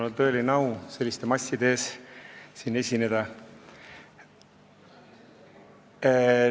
Mul on tõeline au siin selliste masside ees esineda.